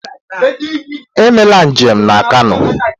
Emela njem na Kano!